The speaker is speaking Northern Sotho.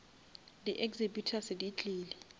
di exhibitors di tlile